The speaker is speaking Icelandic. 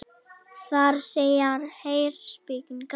Þar segir: Heyr, spekin kallar.